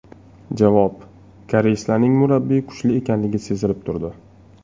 Javob: Koreyslarning murabbiyi kuchli ekanligi sezilib turdi.